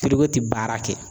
ti baara kɛ.